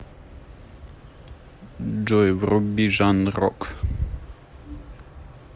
джой вруби жанр рок